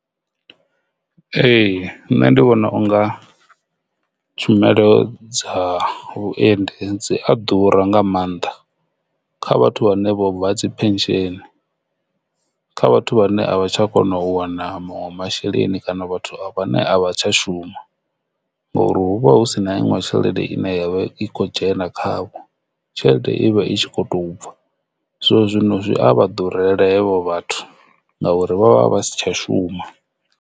Ee, nṋe ndi vhona unga tshumelo dza vhuendi dzi a ḓura nga mannḓa kha vhathu vhane vho bva dzi pension, kha vhathu vhane a vha tsha kona u wana maṅwe masheleni kana vhathu vhane a vha tsha shuma, ngauri hu vha hu si na iṅwe tshelede ine ya vha i kho dzhena khavho, tshelede ivha i kho tou bva so zwino zwi a vha ḓurela havho vhathu ngauri vha vha si tsha shuma.